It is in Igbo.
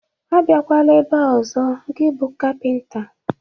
Abiakwala ebe a ọzọ gị bụ kapinta!